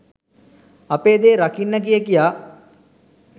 අපේ දේ රකින්න කිය කියා